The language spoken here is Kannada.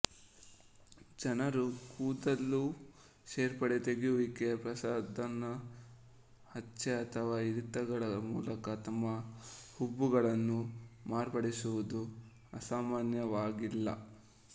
ಜನರು ಕೂದಲು ಸೇರ್ಪಡೆ ತೆಗೆಯುವಿಕೆ ಪ್ರಸಾಧನ ಹಚ್ಚೆ ಅಥವಾ ಇರಿತಗಳ ಮೂಲಕ ತಮ್ಮ ಹುಬ್ಬುಗಳನ್ನು ಮಾರ್ಪಡಿಸುವುದು ಅಸಾಮಾನ್ಯವಾಗಿಲ್ಲ